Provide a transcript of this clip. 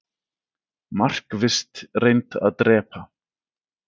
Markvisst reynt að drepa